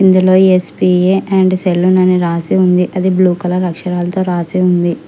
ఇందులో S P A and salon అని రాసి ఉంది అది బ్లూ కలర్ అక్షరాలతో రాసి ఉంది.